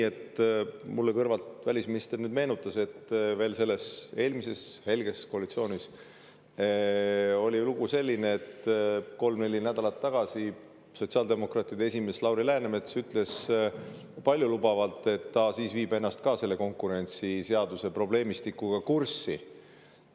Mulle kõrvalt välisminister meenutas, et veel selles eelmises, helges koalitsioonis oli ju selline lugu, et kolm-neli nädalat tagasi sotsiaaldemokraatide esimees Lauri Läänemets ütles paljulubavalt, et ta viib ka ennast pärast kõiki neid aastaid selle konkurentsiseaduse probleemistikuga kurssi.